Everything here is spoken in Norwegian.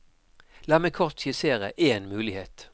La meg kort skissere én mulighet.